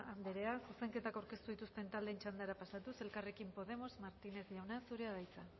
anderea zuzenketak aurkeztu dituzten taldeen txandara pasatuz elkarrekin podemos martínez jauna zurea da hitza